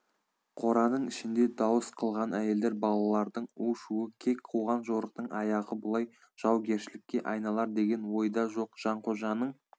қораның ішінде дауыс қылған әйелдер балалардың у-шуы кек қуған жорықтың аяғы бұлай жаугершілікке айналар деген ойда жоқ жанқожаның